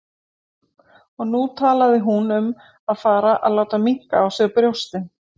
Og nú talaði hún um að fara að láta minnka á sér brjóstin!